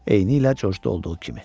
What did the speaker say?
Eynilə Corcda olduğu kimi.